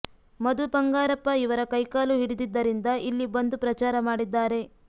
ಮಧು ಬಂಗಾರಪ್ಪ ಇವರ ಕೈಕಾಲು ಹಿಡಿದಿದ್ದರಿಂದ ಇಲ್ಲಿ ಬಂದು ಪ್ರಚಾರ ಮಾಡಿದ್ದಾರೆ